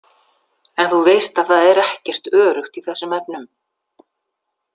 En þú veist að það er ekkert öruggt í þessum efnum.